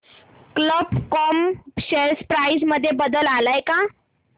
कल्प com share price मध्ये बदल आलाय का